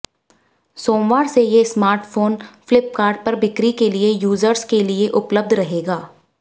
सोमवार से ये स्मार्टफोन फ्लिपकार्ट पर बिक्री के लिए यूजर्स के लिये उपलब्ध रहेगा